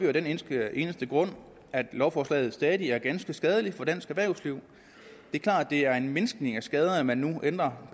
af den eneste eneste grund at lovforslaget stadig er ganske skadeligt for dansk erhvervsliv det er klart at det er en mindskning af skaderne at man nu ændrer